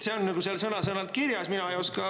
See on seal sõna-sõnalt kirjas.